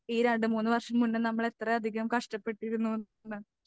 ഈ രണ്ടു മൂന്നു വർഷം മുന്നേ നമ്മൾ എത്രയധികം കഷ്ടപ്പെട്ടിരുന്നു ന്ന്.